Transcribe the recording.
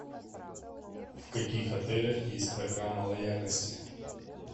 в каких отелях есть программа лояльности